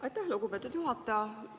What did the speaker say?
Aitäh, lugupeetud juhataja!